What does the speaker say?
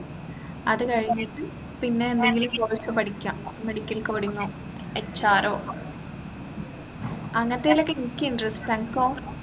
അത് കഴിഞ്ഞിട്ട് പിന്നെന്തെങ്കിലും course പഠിക്കാം medical coding ഒ HR ഒ അങ്ങത്തേലൊക്കെ എനിക്ക് interest അൻക്കോ